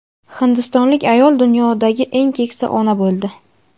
Hindistonlik ayol dunyodagi eng keksa ona bo‘ldi.